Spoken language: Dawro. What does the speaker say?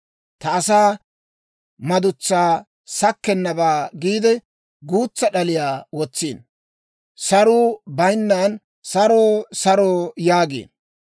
Ta asaa madutsaa sakkennabaa giide, guutsa d'aliyaa wotsiino. Saruu bayinnan, ‹Saro; saro!› yaagiino.